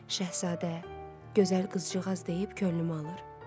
Şəhzadə, gözəl qızcığaz deyib könlümü alır.